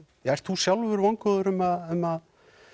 ert þú sjálfur vongóður um að um að